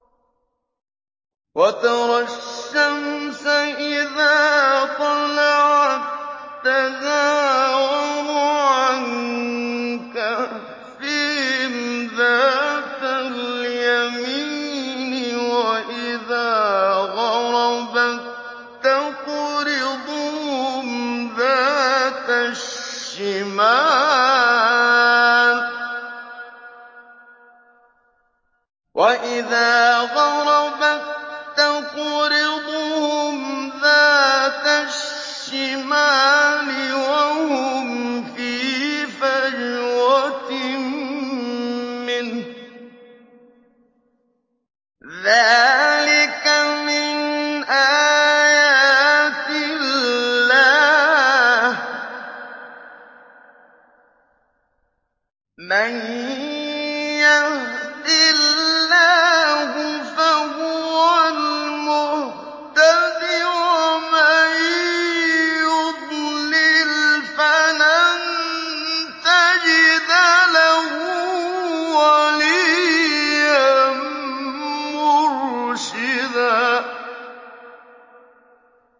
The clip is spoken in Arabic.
۞ وَتَرَى الشَّمْسَ إِذَا طَلَعَت تَّزَاوَرُ عَن كَهْفِهِمْ ذَاتَ الْيَمِينِ وَإِذَا غَرَبَت تَّقْرِضُهُمْ ذَاتَ الشِّمَالِ وَهُمْ فِي فَجْوَةٍ مِّنْهُ ۚ ذَٰلِكَ مِنْ آيَاتِ اللَّهِ ۗ مَن يَهْدِ اللَّهُ فَهُوَ الْمُهْتَدِ ۖ وَمَن يُضْلِلْ فَلَن تَجِدَ لَهُ وَلِيًّا مُّرْشِدًا